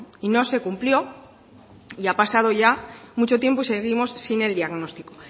y no se cumplió y ha pasado ya mucho tiempo y seguimos sin el diagnóstico